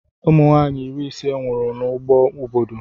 Ụmụnwaanyị iri ise nwụrụ n'ọgụ obodo